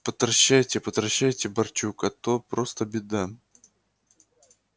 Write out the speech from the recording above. потращайте потращайте барчук а то просто беда